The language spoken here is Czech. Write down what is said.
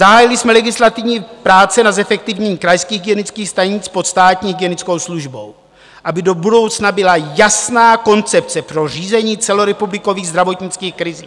Zahájili jsme legislativní práce na zefektivnění krajských hygienických stanic pod státní hygienickou službou, aby do budoucna byla jasná koncepce pro řízení celorepublikových zdravotnických krizí.